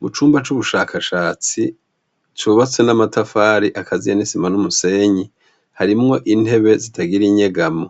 Mu cumba c'ubushakashatsi cubatse n'amatafari akaziyanisima n'umusenyi harimwo intebe zitagira inyegamo